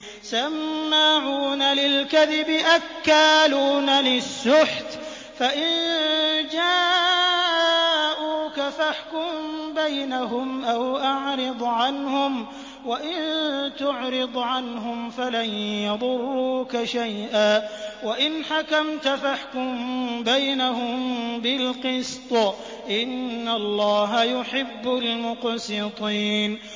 سَمَّاعُونَ لِلْكَذِبِ أَكَّالُونَ لِلسُّحْتِ ۚ فَإِن جَاءُوكَ فَاحْكُم بَيْنَهُمْ أَوْ أَعْرِضْ عَنْهُمْ ۖ وَإِن تُعْرِضْ عَنْهُمْ فَلَن يَضُرُّوكَ شَيْئًا ۖ وَإِنْ حَكَمْتَ فَاحْكُم بَيْنَهُم بِالْقِسْطِ ۚ إِنَّ اللَّهَ يُحِبُّ الْمُقْسِطِينَ